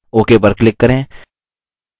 ok पर click करें